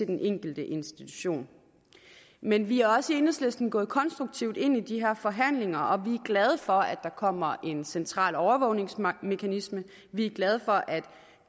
den enkelte institution men vi er også i enhedslisten gået konstruktivt ind i de her forhandlinger og vi glade for at der kommer en central overvågningsmekanisme vi glade for at